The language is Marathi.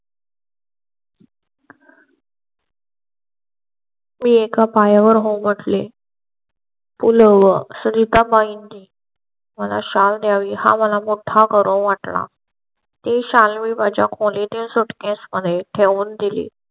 मी एका पाया वर हो म्हटले . पूर्व संगीता point. मला शाल हा मला मोठा करून वाट ला. ते शाल college suitcase मध्ये ठेवून दिली.